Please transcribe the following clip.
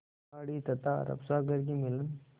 खाड़ी तथा अरब सागर के मिलन